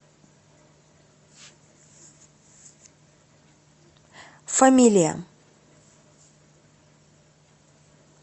фамилия